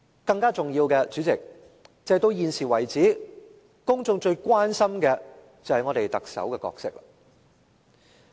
代理主席，更重要的是，到現時為止，公眾最關心的是特首的角色。